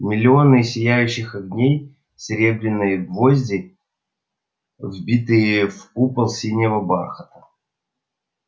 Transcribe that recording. миллионы сияющих огней серебряные гвозди взбитые в купол синего бархата